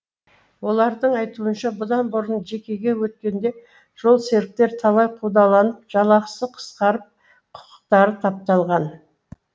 олардың айтуынша бұдан бұрын жекеге өткенде жолсеріктер талай қудаланып жалақысы қысқарып құқықтары тапталған